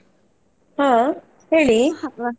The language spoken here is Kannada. ಹಾ ಹೇಳಿ.